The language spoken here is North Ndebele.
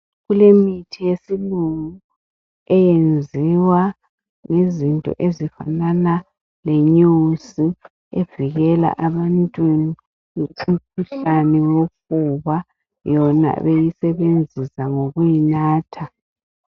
Kulemithi yesilungu eyenziwa ngezinto ezifanana lenyosi evikela abantu imikhuhlane wokuwa bona beyisebenzisa ngokuyinatha